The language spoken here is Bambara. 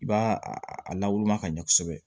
I b'a a lawulima ka ɲɛ kosɛbɛ